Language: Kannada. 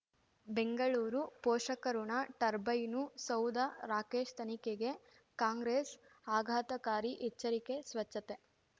ಬೆಂಗಳೂರು ಪೋಷಕಋಣ ಟರ್ಬೈನು ಸೌಧ ರಾಕೇಶ್ ತನಿಖೆಗೆ ಕಾಂಗ್ರೆಸ್ ಆಘಾತಕಾರಿ ಎಚ್ಚರಿಕೆ ಸ್ವಚ್ಛತೆ